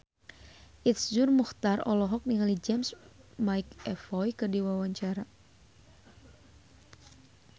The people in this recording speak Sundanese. Iszur Muchtar olohok ningali James McAvoy keur diwawancara